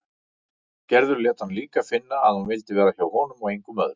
Gerður lét hann líka finna að hún vildi vera hjá honum og engum öðrum.